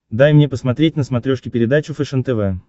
дай мне посмотреть на смотрешке передачу фэшен тв